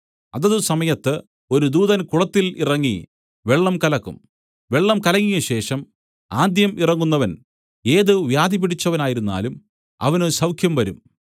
അതത് സമയത്ത് ഒരു ദൂതൻ കുളത്തിൽ ഇറങ്ങി വെള്ളം കലക്കും വെള്ളം കലങ്ങിയ ശേഷം ആദ്യം ഇറങ്ങുന്നവൻ ഏത് വ്യാധിപിടിച്ചവനായിരുന്നാലും അവന് സൌഖ്യംവരും